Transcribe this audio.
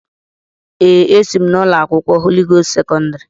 Èè, esi m ụlọ akwụkwọ Holị Gost sekọndrị.